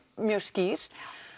mjög skýr